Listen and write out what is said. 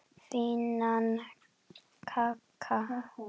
Fínan kagga!